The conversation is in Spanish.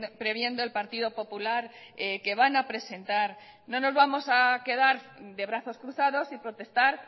previendo el partido popular que van a presentar no nos vamos a quedar de brazos cruzados y protestar